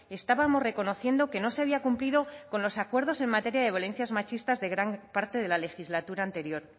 estábamos reconociendo que no se había cumplido con los acuerdos en materia de violencias machistas de gran parte de la legislatura anterior